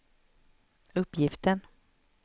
uppgiften